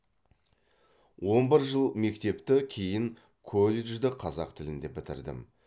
он бір жыл мектепті кейін колледжді қазақ тілінде бітірдім